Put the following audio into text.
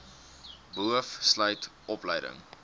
boov sluit opleiding